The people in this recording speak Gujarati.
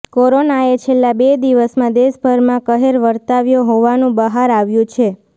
કોરોનાએ છેલ્લા બે દિવસમાં દેશભરમાં કહેર વર્તાવ્યો હોવાનું બહાર આવ્યુ છે